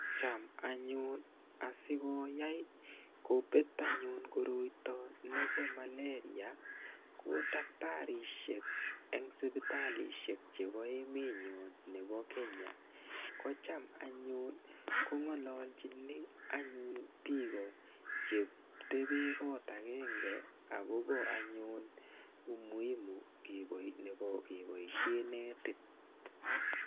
Cham anyun asikoyai kopet anyun koroito nebo maleria ko daktarisiek eng sipitalishek chebo emenyo nebo Kenya ko cham anyun kongolochini anyun biko chetebe koot akenge akobo anyun umuhimu nebo keboishe netit.